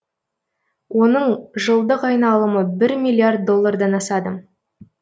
оның жылдық айналымы бір миллиард доллардан асады